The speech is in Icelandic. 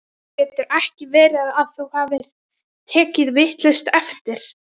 Getur ekki verið að þú hafir tekið vitlaust eftir?